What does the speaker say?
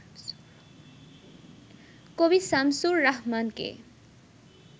কবি শামসুর রাহমানকে